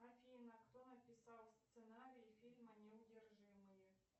афина кто написал сценарий фильма неудержимые